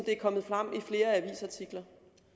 er kommet frem i flere avisartikler